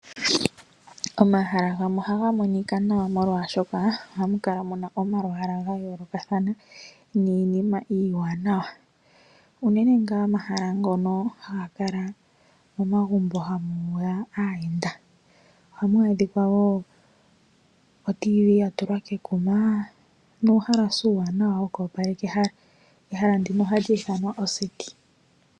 Omahala gamwe ohaga monika nawa molwaashoka ohamu kala muna omalwalwa ga yoolokathana niinima iiwanawa. Unene ngaa omahala ngono haga kala momagumbo hamuya aayenda. Ohamu adhika wo oradio yomuzizimbe yatulwa kekuma nuuhalasa uuwanawa wokwopaleka ehala. Ehala ndino ohali ithanwa oseti.